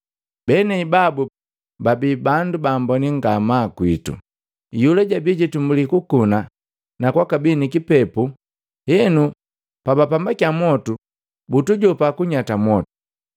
Benei babu babii bandu baamboni ngamaa kwitu. Iyula jabii jitumbuli kukuna na kwabii ni kipepu, henu bapambakya mwotu, butujopa kunyata mwotu.